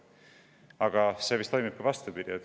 Aga see toimib ka vastupidi.